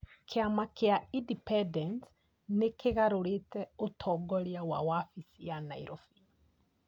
Kĩama kĩa Independence , nĩ kĩgarũrĩte ũtongoria wa wabici ya Nairobi .